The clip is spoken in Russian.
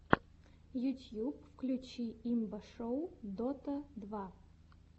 ютьюб включи имба шоу дота два